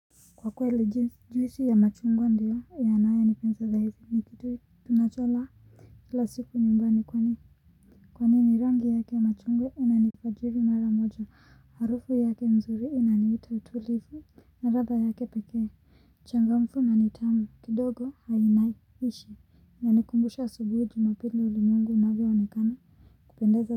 Kwa kweli jinsi juisi ya machungwa ndio yanayanipendeza zaidi ni kitu tunachola kila siku nyumbani kwani ni rangi yake ya machungwa inanifajiri mara moja harufu yake nzuri inaniita utulivu na radha yake pekee uchangamfu na nithamu kidogo hainai ishi yanikumbusha asubuhi jumapili ulimwengu unavyoonekana kupendeza.